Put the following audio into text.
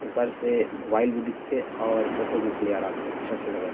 ऊपर से मोबाइल भी दिखत हे और फोटो भी क्लियर आथे अच्छा से लगत--